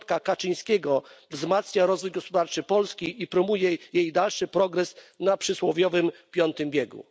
piątka Kaczyńskiego wzmacnia rozwój gospodarczy Polski i promuje jej dalszy rozwój na przysłowiowym piątym biegu.